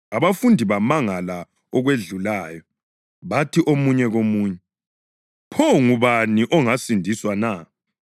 Abafundi bamangala okwedlulayo, bathi omunye komunye, “Pho ngubani ongasindiswa na?”